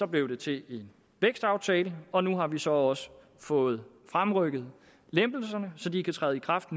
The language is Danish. blev det til en vækstaftale og nu har vi så også fået fremrykket lempelserne så de kan træde i kraft